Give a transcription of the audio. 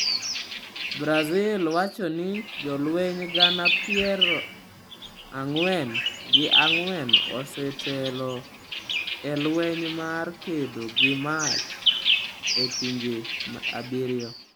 Brazil wacho ni jolweny gana pieor ang'wen gi ang'wen osetelo e lweny mar kedo gi mach e pinje abiriyo.